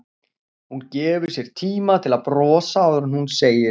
Hún gefur sér tíma til að brosa áður en hún segir